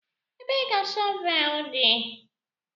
Ebee ka shọvel dị?